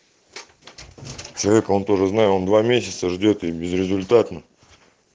человек он тоже знаю он два месяца ждёт и безрезультатно